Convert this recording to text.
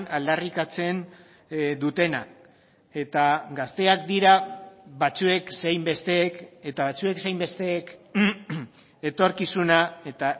aldarrikatzen dutenak eta gazteak dira batzuek zein besteek eta batzuek zein besteek etorkizuna eta